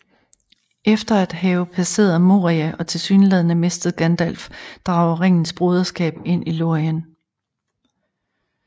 Efter at have passeret Moria og tilsyneladende mistet Gandalf drager Ringens Broderskab ind i Lorien